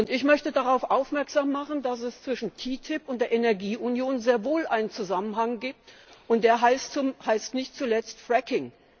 Ich möchte darauf aufmerksam machen, dass es zwischen TTIP und der Energieunion sehr wohl einen Zusammenhang gibt, und der heißt nicht zuletzt Fracking.